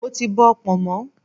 Mo ti bọ pọ̀nmọ́.